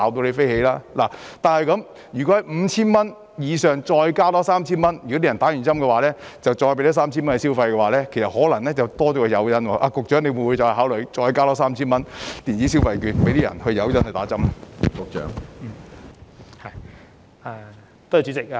然而，如果在 5,000 元以上再多加 3,000 元，即市民接種後便再多給他們 3,000 元消費，便可能會多加一個誘因，局長會否再考慮多加 3,000 元電子消費券作為誘因，令市民接種疫苗呢？